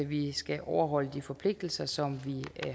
vi skal overholde de forpligtelser som vi